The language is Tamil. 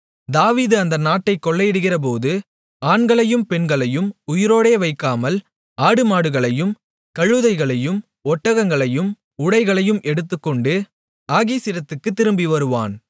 தாவீது அந்த நாட்டைக் கொள்ளையடிக்கிறபோது ஆண்களையும் பெண்களையும் உயிரோடே வைக்காமல் ஆடுமாடுகளையும் கழுதைகளையும் ஒட்டகங்களையும் உடைகளையும் எடுத்துக்கொண்டு ஆகீசிடத்துக்குத் திரும்பி வருவான்